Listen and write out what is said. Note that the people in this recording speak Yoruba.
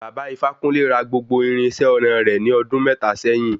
Bàbá ifákúnle ra gbogbo irinṣẹ́ ọnà re ní ọdún mẹ́ta sẹ́yìn.